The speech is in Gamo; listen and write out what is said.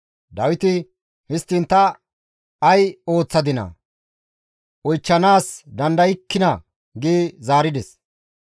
Dawiti, «Histtiin ta ay ooththadinaa? Oychchanaas dandaykkinaa?» gi zaarides.